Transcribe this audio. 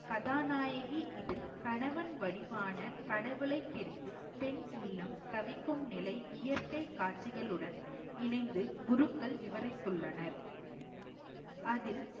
கதாநாயகி இதில் கணவன் வடிவான கடவுளை பிரிந்து பெண் உள்ளம் தவிக்கும் நிலை இயற்கை காட்சிகளுடன் இணைந்து குருக்கள் விவரித்துள்ளனர் அதில்